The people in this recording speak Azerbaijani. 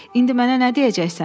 “İndi mənə nə deyəcəksən?